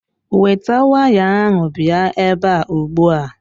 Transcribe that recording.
Weta waya ahụ bịa ebe a ugbua.